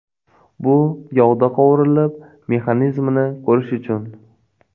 Bu yog‘da qovurilib, mexanizmini ko‘rish uchun.